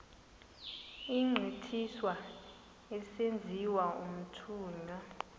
egqithiswa esenziwa umthunywa